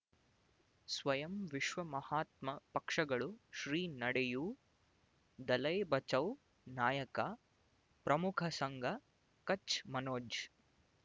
ಸ್ವಯಂ ವಿಶ್ವ ಮಹಾತ್ಮ ಪಕ್ಷಗಳು ಶ್ರೀ ನಡೆಯೂ ದಲೈ ಬಚೌ ನಾಯಕ ಪ್ರಮುಖ ಸಂಘ ಕಚ್ ಮನೋಜ್